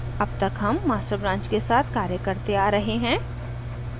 अब तक हम master branch के साथ कार्य करते आ रहे हैं